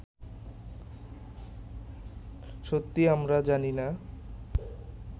সত্যি আমরা জানি না